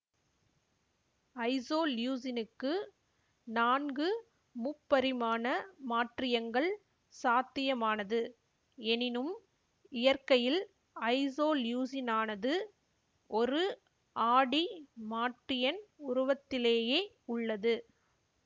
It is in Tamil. ஐசோலியூசினுக்கு நான்கு முப்பரிமாண மாற்றியங்கள் சாத்தியமானது எனினும் இயற்கையில் ஐசோலியூசினானது ஒரு ஆடி மாற்றியன் உருவத்திலேயே உள்ளது